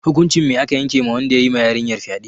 Hukuncin me aka yanke ma wanda yayi ma yarinyar fyade?